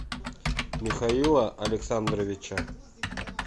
михаила александровича